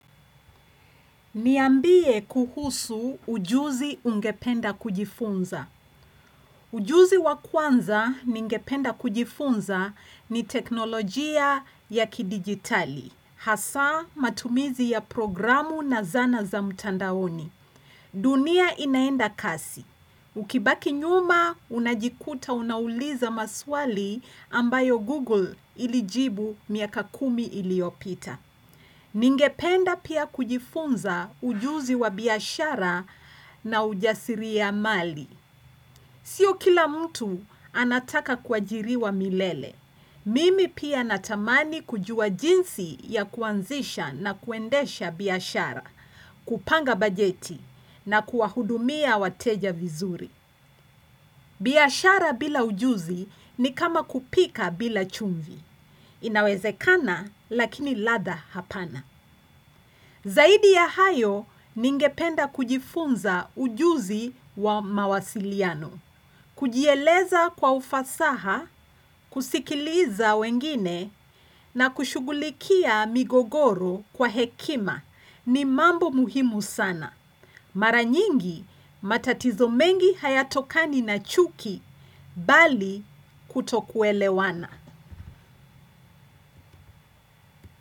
Niambie kuhusu ujuzi ungependa kujifunza. Ujuzi wa kwanza ningependa kujifunza ni teknolojia ya kidigitali, hasa matumizi ya programu na zana za mtandaoni. Dunia inaenda kasi. Ukibaki nyuma, unajikuta unauliza maswali ambayo Google ilijibu miaka kumi iliopita. Ningependa pia kujifunza ujuzi wa biyashara na ujasiri ya mali. Sio kila mtu anataka kwajiriwa milele. Mimi pia natamani kujua jinsi ya kuanzisha na kuendesha biyashara, kupanga bajeti na kuahudumia wateja vizuri. Biyashara bila ujuzi ni kama kupika bila chumvi. Inawezekana lakini lada hapana. Zaidi ya hayo ningependa kujifunza ujuzi wa mawasiliano, kujieleza kwa ufasaha, kusikiliza wengine na kushugulikia migogoro kwa hekima ni mambo muhimu sana. Maranyingi matatizo mengi hayatokani na chuki bali kutokuelewana.